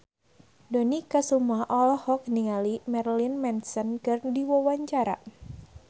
Dony Kesuma olohok ningali Marilyn Manson keur diwawancara